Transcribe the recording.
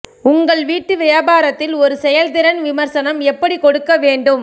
உங்கள் வீட்டு வியாபாரத்தில் ஒரு செயல்திறன் விமர்சனம் எப்படி கொடுக்க வேண்டும்